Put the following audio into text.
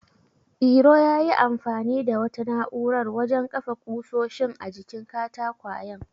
Iro yayi amfani da wata na'urar wajen kafa ƙusoshin a jikin katakwayen.